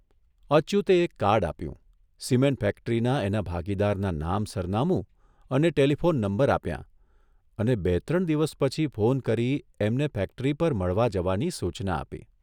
અચ્યુતે એક કાર્ડ આપ્યું સિમેન્ટ ફેક્ટરીના એના ભાગીદારના નામ સરનામું અને ટેલીફોન નંબર આપ્યાં અને બે ત્રણ દિવસ પછી ફોન કરી એમને ફેક્ટરી પર મળવા જવાની સૂચના આપી.